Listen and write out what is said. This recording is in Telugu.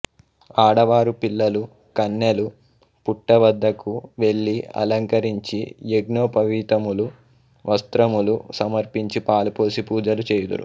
ఆడువారు పిల్లలు కన్నెలు పుట్ట వద్దకు వెళ్లి అలంకరించి యగ్నోపవీతములు వస్త్రములు సమర్పించి పాలు పోసి పూజలు చేయుదురు